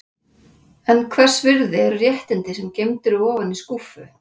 En hvers virði eru réttindi sem geymd eru ofan í skúffu?